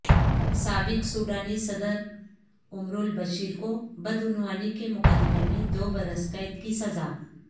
سابق سوڈانی صدر عمرالبشیر کو بدعنوانی کے مقدمے میں دو برس قید کی سزا